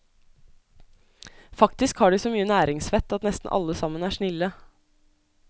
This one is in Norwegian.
Faktisk har de så mye næringsvett at nesten alle sammen er snille.